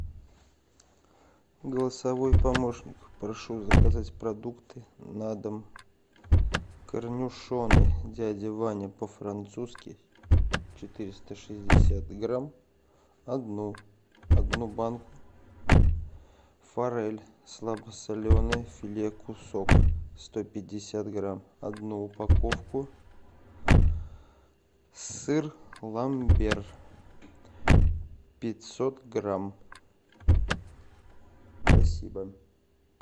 голосовой помощник прошу заказать продукты на дом корнишоны дядя ваня по французски четыреста шестьдесят грамм одну одну банку форель слабосоленая филе кусок сто пятьдесят грамм одну упаковку сыр ламбер пятьсот грамм спасибо